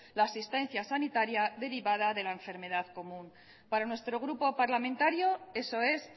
la asistencia sanitaria derivada de la enfermedad común para nuestro grupo parlamentario eso es